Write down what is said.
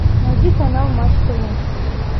найди канал матч тв